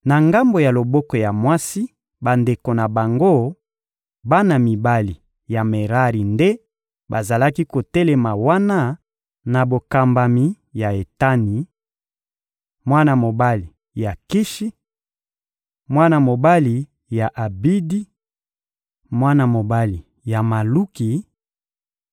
Na ngambo ya loboko ya mwasi, bandeko na bango, bana mibali ya Merari nde bazalaki kotelema wana na bokambami ya Etani, mwana mobali ya Kishi, mwana mobali ya Abidi, mwana mobali ya Maluki,